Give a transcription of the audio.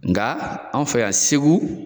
Nga an fɛ yan Segu.